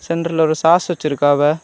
சென்டர்ல ஒரு சாஸ் வச்சிருக்காவ.